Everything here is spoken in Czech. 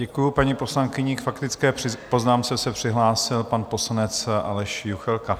Děkuji paní poslankyni, k faktické poznámce se přihlásil pan poslanec Aleš Juchelka.